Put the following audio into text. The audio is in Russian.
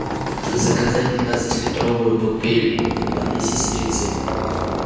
заказать пятнадцатилитровую бутыль воды сестрицы